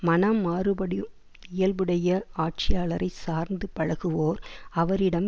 மனம் மாறுபடும் இயல்புடைய ஆட்சியாளரைச் சார்ந்து பழகுவோர் அவரிடம்